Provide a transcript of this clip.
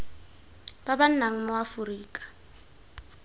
ba ba nnang mo aforika